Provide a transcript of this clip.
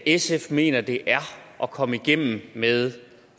sf mener det er at komme igennem med